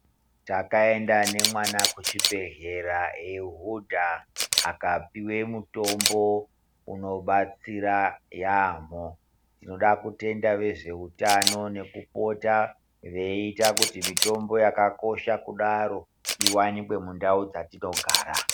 Takaenda ne mwana kuchi bhehleya ei hudha akapiwe mutombo uno batsira yamho tinoda kutenda vezve hutano nekupota veita kuti mitombo yakakosha kudaro iwanike mundau dzatino gara.